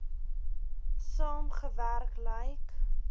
saam gewerk lyk